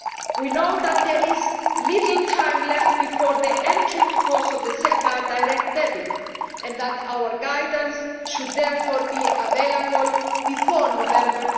We know there is little time left before the entry into force of the SEPA direct debit, and that our guidance should therefore be available before November